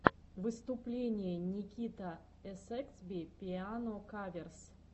выступление никитаэсэксби пиано каверс